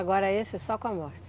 Agora esse é só com a morte?